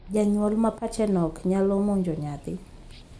janyuol ma pache nok nyalo monjo nyathi.